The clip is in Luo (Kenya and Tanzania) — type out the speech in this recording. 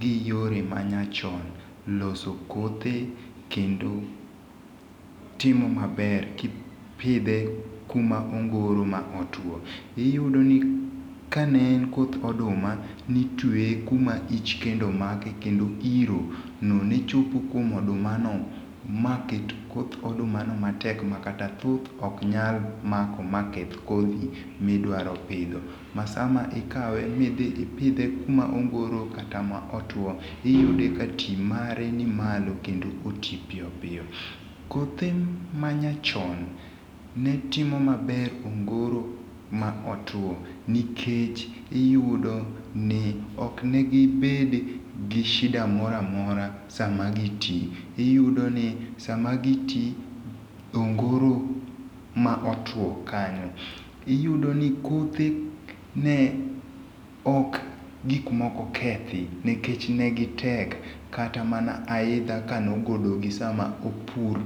gi yore ma nyachon loso kothe kendo timo maber kipidhe kuma ongoro ma otwo. Iyudo ni kane en koth oduma, nitweye kuma ich kendo make, kendo irono nechopo kuom odumano maket koth odumano matek makata thuth oknyal mako maketh kodhi midwaro pidho. Masaama ikawe midhi ipidhe kuma ongoro kata ma otwoo, iyude katii mare ni malo kendo oti piyo piyo. Kothe manyachon netimo maber ongoro ma otwo, nikech iyudo ni, oknegibed gi shida moramora sama gitii. Iyudoni sama gitii ongoro ma otwoo kanyo, iyudoni kothe ne ok gikmoko kethi, nikech negitek. Kata mana aidha kanogologi sama opur